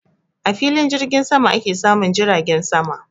A filin jirgin sama ake samun jiragen sama